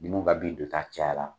Minnu ka bin don ta caya la